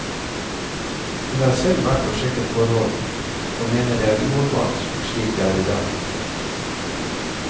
Hun har selv vært og sjekket forholdene, og mener det er uholdbart slik det er i dag.